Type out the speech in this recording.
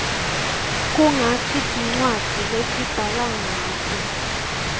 kungti rcwadzi lesibhala nqato